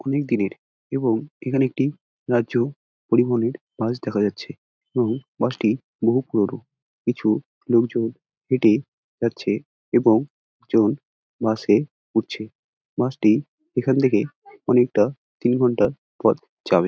অনেক দিনের এবং এখানে একটি পরিবহনের বাস দেখা যাচ্ছে এবং বাস টি বহু পুরোনো। কিছু লোক জন এটি যাচ্ছে এবং বাস এ উঠছে বাস টি এখন থেকে অনেক টা তিন ঘন্টার পথ যাবে।